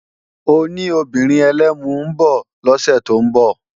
Ó ní obìnrin ẹlẹ́mu ń bọ̀ lọ́sẹ̀ tó ń bọ̀